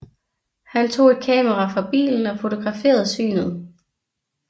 Han tog et kamera fra bilen og fotograferede synet